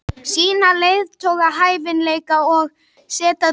Sýna leiðtogahæfileika og sætta deilur.